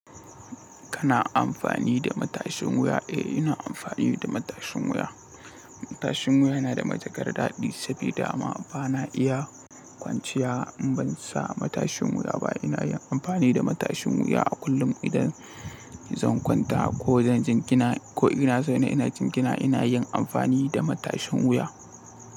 Kana amfani da matashin wuya? Eh, ina amfani da matashin wuya. Matashin wuya yana da matukar daɗi sabida dama bana iya kwanciya in ban sa matashin wuya ba. Ina yin amfani da matashin wuya a kullum idan zan kwanta ko zan jingina ko inaso ne ina jingina ina yin amfani da matashin wuya.